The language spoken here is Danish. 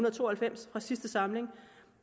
og to og halvfems fra sidste samling og